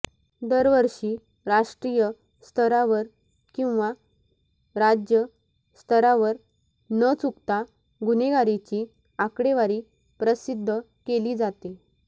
दरवर्षी राष्ट्रीय स्तरावर किंवा राज्य स्तरावर न चुकता गुन्हेगारीची आकडेवारी प्रसिध्द केली जाते